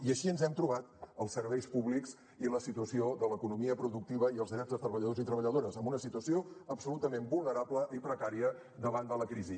i així ens hem trobat els serveis públics i la situació de l’economia productiva i els drets de treballadors i treballadores en una situació absolutament vulnerable i precària davant de la crisi